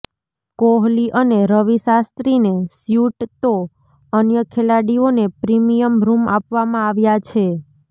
કોહલી અને રવિ શાસ્ત્રીને સ્યુટ તો અન્ય ખેલાડીઓને પ્રિમીયમ રૂમ આપવામાં આવ્યા છે